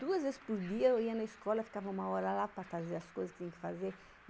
Duas vezes por dia eu ia na escola, ficava uma hora lá para fazer as coisas que tinha que fazer.